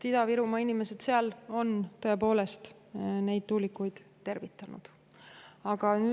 Ida-Virumaa inimesed on tõepoolest nende tuulikute seal tervitanud.